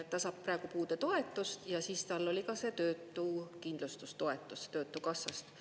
Ta saab praegu puudetoetust ja siis tal oli ka see töötukindlustustoetus töötukassast.